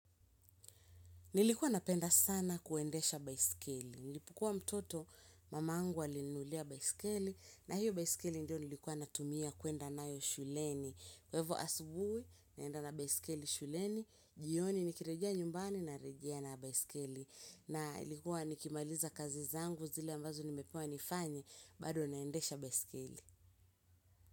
Nilikuwa napenda sana kuendesha baiskeli. Nilipukua mtoto mamangu alininulia baiskeli na hiyo baiskeli ndio nilikuwa natumia kwenda nayo shuleni. Kwa ivo asubui naenda na baiskeli shuleni, jioni nikirejia nyumbani narejea na baiskeli. Na ilikuwa nikimaliza kazi zangu zile ambazo nimepewa nifanye bado naendesha baiskeli.